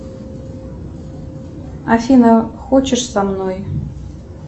афина хочешь со мной